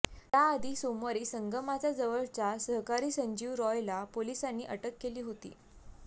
याआधी सोमवारी संगमाचा जवळचा सहकारी संजीव रॉयला पोलिसांनी अटक केली होती